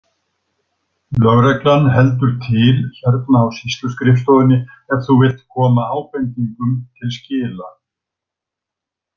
Lögreglan heldur til hérna á sýsluskrifstofunni ef þú vilt koma ábendingum til skila.